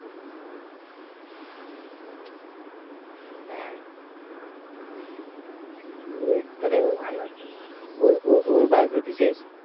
নিয়ে তাহলে ওর ওর biogphy শেষ